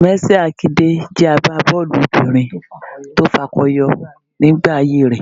Mercy Àkidè jẹ́ àgbábọ́ọ̀lù obìnrin tó fakọyọ nígbà ayé rẹ